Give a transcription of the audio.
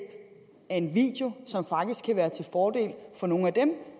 af en video som faktisk kan være til fordel for nogle af dem